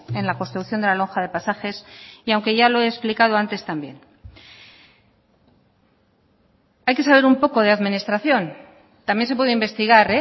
en la construcción de la lonja de pasajes y aunque ya lo he explicado antes también hay que saber un poco de administración también se puede investigar